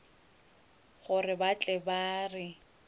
gore ba tle ba re